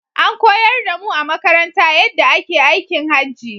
An koyar da mu a makaranta yaɗɗa ake aikin Hajji